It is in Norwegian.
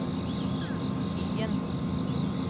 Hyen